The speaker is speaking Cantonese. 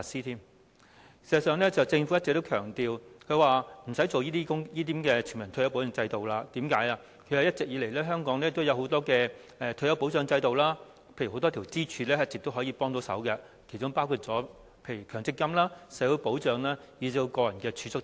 事實上，政府一直強調無須推行全民退休保障制度，因為一直以來，香港有很多退休保障制度，例如一直有很多支柱可以提供幫助，其中包括強制性公積金制度、社會保障，以至個人儲蓄等。